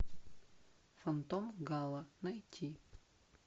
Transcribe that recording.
фантом гало найти